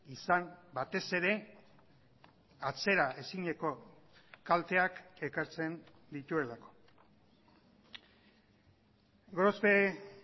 izan batez ere atzeraezineko kalteak ekartzen dituelako gorospe